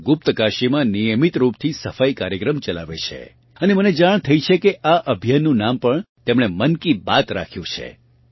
તેઓ ગુપ્તકાશીમાં નિયમિત રૂપથી સફાઈ કાર્યક્રમ ચલાવે છે અને મને જાણ થઇ છે કે આ અભિયાનનું નામ પણ તેમણે મન કી બાત રાખ્યું છે